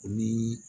O ni